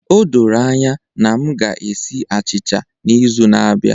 O doro anya na m ga-esi achịcha n'izu na-abịa